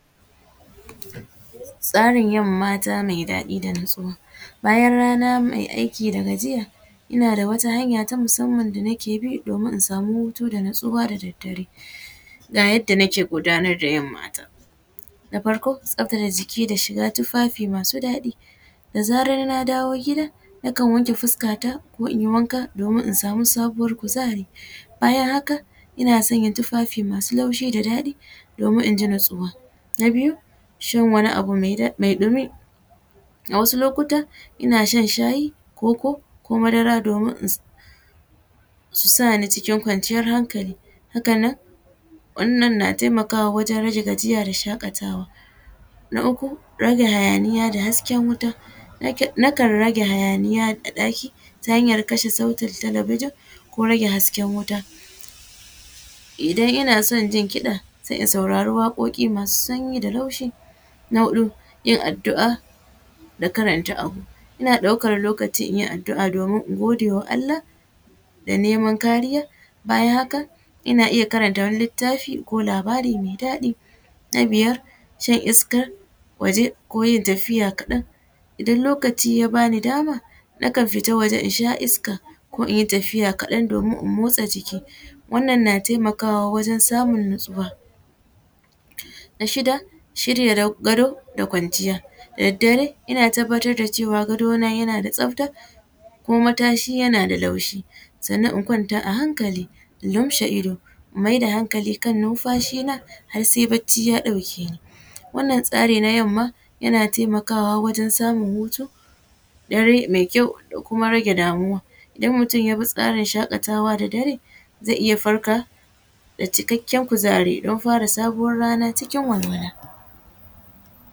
Tsarin yin mata mai ɗadi da natsuwa, bayan rana mai aiki da gajiya ina da wata hanya na musamman da nake bi domin na samu hutu da natsuwa da daddare, ga yadda nake gudanar da yin mata na farko tsaftace jiki da shiga tufafi masu ɗaɗi, da zararna dawo gida nakan wanke fuskata ko inyi wanka domin in samu sabuwar kuzari bayan haka ina sanya tufafi masu laushi da ɗaɗi domin inji natsuwa, na biyu shan wani abu mai dumi a wasu lokutan ina shan shayi, koko, ko madara domin su sani cikin kwanciyar hankali haka nan wannan na taimakawa wajen rage gajiya da shakatawa, na uku rage hayaniya da hasken wuta, nakan rage hayaniya a ɗaki ta hanyar kasha sautin talabijin ko rage hasken wuta, idan ina son jin kiɗa sai in sauraro waƙoƙi masu sanyi da laushi, na huɗu yin addua da karanta abu ina ɗaukan lokaci inyi addua domin in godewa Allah da neman kariya, bayan haka ina iya karanta wani littafi ko labara mai ɗaɗi, na biyar shan iskar waje ko yin tafiya kaɗan idan lokaci ya bani dama nakan fita waje na sha iska ko inyi tafiya kaɗan domin in motsa jiki wannan na taimakawa wajen samun natsuwa, na shida shirya gado da kwanciya, da daddare ina tabbatar da cewa gado na yana da tsafta kuma matashi yana da laushi sannan in kwanta a hankali in lumshe ido in mai da hankali kan nunfashi na har sai bacci ya ɗauke ni wannan tsari na yamma yana taimakawa wajen samun hutu dare mai kyau da kuma rage damuwa, idan mutum yabi tsarin shakatawa da dare zai iya farka da cikakken kuzari don fara sabuwan rana cikin walwala.